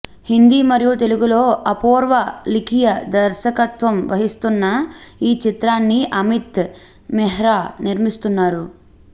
హిందీ మరియు తెలుగులో అపూర్వ లిఖియా దర్శకత్వం వహిస్తున్న ఈ చిత్రాన్ని అమిత్ మెహ్రా నిర్మిస్తున్నారు